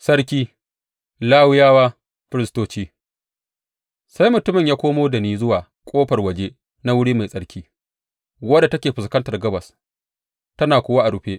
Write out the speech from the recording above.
Sarki, Lawiyawa, Firistoci Sai mutumin ya komo da ni zuwa ƙofar waje na wuri mai tsarki, wadda take fuskantar gabas, tana kuwa a rufe.